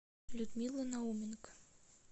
людмила науменко